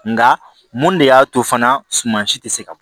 Nga mun de y'a to fana suma si tɛ se ka bɔ